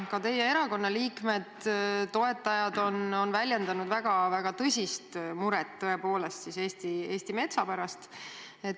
Ka teie erakonna liikmed-toetajad on väljendanud tõsist muret Eesti metsa pärast.